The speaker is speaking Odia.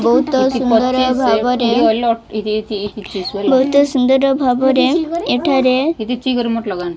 ବହୁତ ସୁନ୍ଦର ଭାବରେ ବହୁତ ସୁନ୍ଦର ଭାବରେ ଏଠାରେ।